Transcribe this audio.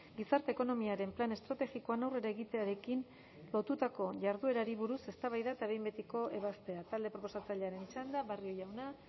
gizarte ekonomiaren plan estrategikoan aurrera egitearekin lotutako jarduerari buruz eztabaida eta behin betiko ebazpena talde proposatzailearen txanda barrio jauna